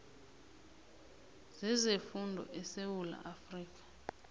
zezefundo esewula afrika